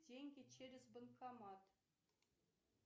деньги через банкомат